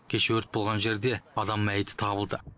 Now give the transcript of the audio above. кеше өрт болған жерде адам мәйіті табылды